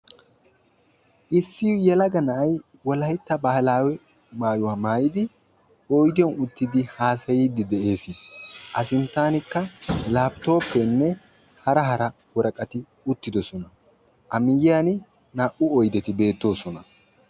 issi yelaga na'ay wolaytta baahilaawe maayuwa maayidi oyddiyan uttidi haaasayiidi de'eesi, a sintaanikka laaapitoopeenne hara hara woraqattati uttidosona. a miyiyaani naa'u oydetti beettoosona.